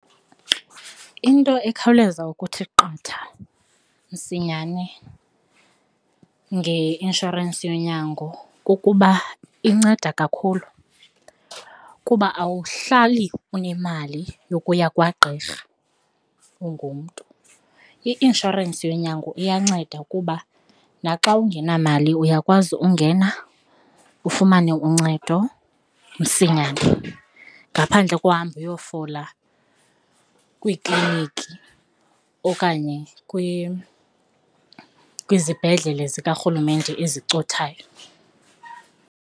Into ekhawuleza ukuthi qatha msinyane ngeinshorensi yonyango kukuba inceda kakhulu kuba awuhlali unemali yokuya kwagqirha ungumntu. I-inshorensi yonyango iyanceda ukuba naxa ungenamali uyakwazi ungena ufumane uncedo msinyane ngaphandle kohamba uyofola kwiikliiniki okanye kwizibhedlele zikarhulumente ezicothayo.